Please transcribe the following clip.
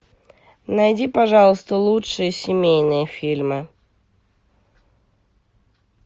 найди пожалуйста лучшие семейные фильмы